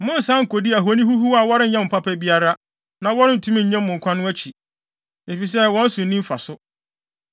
Monnsan nkodi ahoni huhuw a wɔrenyɛ mo papa biara, na wɔrentumi nnye mo nkwa no akyi, efisɛ wɔn so nni mfaso.